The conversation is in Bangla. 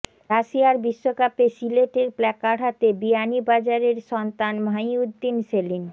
রাশিয়ার বিশ্বকাপে সিলেটের প্ল্যাকার্ড হাতে বিয়ানীবাজারের সন্তান মাহিউদ্দিন সেলিম